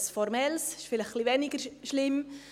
Ein formelles, das ist vielleicht etwas weniger schlimm.